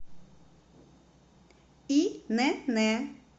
инн